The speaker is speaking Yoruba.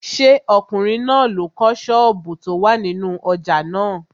Ṣé ọkùnrin náà ló kọ́ àwọn sọ́ọ̀bù tó wà nínú ojà náà?